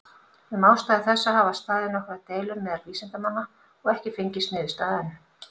Um ástæðu þessa hafa staðið nokkrar deilur meðal vísindamanna, og ekki fengist niðurstaða enn.